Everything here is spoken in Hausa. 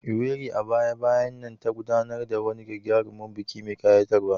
Owerri, a baya-bayan nan, ta gudanar da wani gagarumin biki mai ƙayatarwa.